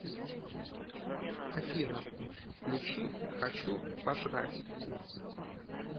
афина включи хочу пожрать